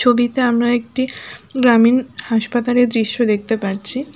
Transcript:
ছবিতে আমরা একটি গ্রামীন হাসপাতালের দৃশ্য দেখতে পাচ্ছি।